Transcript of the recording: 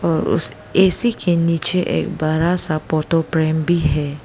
और उस ऐ_सी के नीचे एक बड़ा सा फोटो फ्रेम भी है।